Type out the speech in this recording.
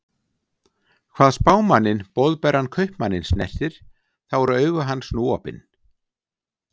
Hvað Spámanninn Boðberann Kaupmanninn snertir, þá eru augu hans nú opin.